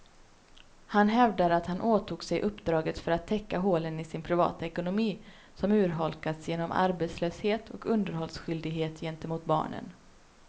Han hävdar att han åtog sig uppdraget för att täcka hålen i sin privata ekonomi, som urholkats genom arbetslöshet och underhållsskyldighet gentemot barnen.